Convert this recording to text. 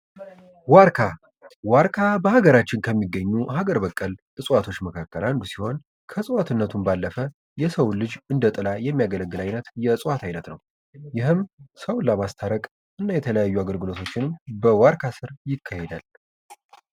ዋርካ በሃገራችን ከሚገኙ ሀገር በቀል እዋቶች መካከል አንዱ ሲሆን ከእጽዋትነቱን ባለፈ የሰው ልጅ እንደ ጥላ የሚያገለግል አይነት የእጽዋት አይነት ነው ይህም ሰውን ለማስታረቅ የተለያዩ አይነት ድርጊት በዋርካ ስር ይካሄዳል።